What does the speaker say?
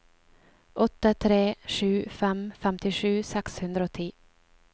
åtte tre sju fem femtisju seks hundre og ti